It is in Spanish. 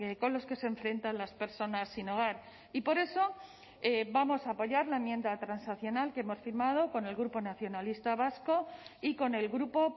con los que se enfrentan las personas sin hogar y por eso vamos a apoyar la enmienda transaccional que hemos firmado con el grupo nacionalista vasco y con el grupo